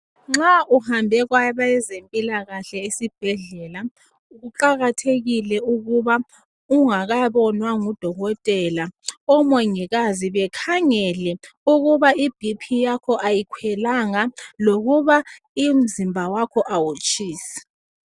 Nxa uhambe kwabezempilakahle esibhedlela, kuqakathekile ukuba ungakabonwa ngudokotela, omongikazi bekhangele ukuba ibhi phi yakho ayikhwelanga lokuba umzimba wakho awutshisi.